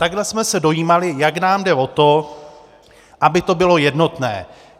Takhle jsme se dojímali, jak nám jde o to, aby to bylo jednotné.